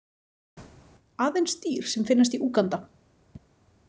Aðeins dýr sem finnast í Úganda.